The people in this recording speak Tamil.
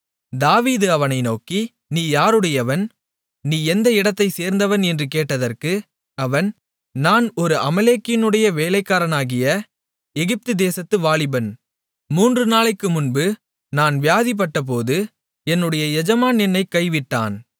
தாவீது அவனை நோக்கி நீ யாருடையவன் நீ எந்த இடத்தை சேர்ந்தவன் என்று கேட்டதற்கு அவன் நான் ஒரு அமலேக்கியனுடைய வேலைக்காரனாகிய எகிப்து தேசத்துப் வாலிபன் மூன்று நாளைக்குமுன்பு நான் வியாதிப்பட்டபோது என்னுடைய எஜமான் என்னைக் கைவிட்டான்